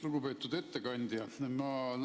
Lugupeetud ettekandja!